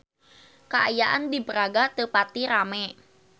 Kaayaan di Braga teu pati rame